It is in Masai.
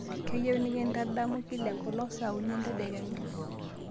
kayieu nikindadamu kila enkolong saa uni entedekenya